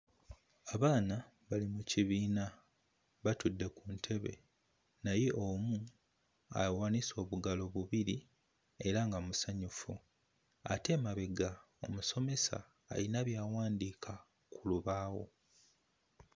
Abaana bali mu kibiina batudde ku ntebe naye omu awanise obugalo bubiri era nga musanyufu. Ate emabega omusomesa alina by'awandiika ku lubaawo.